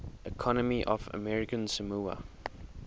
economy of american samoa